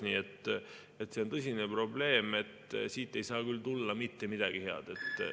Nii et see on tõsine probleem, siit ei saa tulla mitte midagi head.